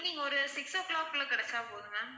evening ஒரு six o'clock குள்ள கிடைச்சா போதும் ma'am